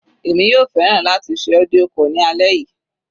Èmi yóò fẹ́ràn láti ṣe audio call ní alẹ́ yìí.